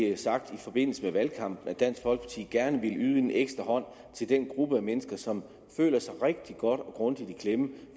det er sagt i forbindelse med valgkampen at dansk folkeparti gerne ville give en ekstra hånd til den gruppe mennesker som føler sig rigtig godt og grundigt i klemme